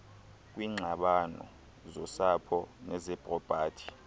kwiingxabano zosapho nezepropati